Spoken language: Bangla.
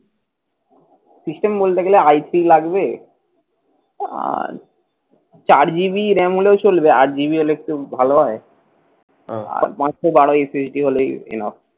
system বলতে গেলে IP লাগবে আর চার GB ram হলেও চলবে, আট GB হলে একটু ভাল হয়। আর পাঁচশো বারো SSD হলেই enough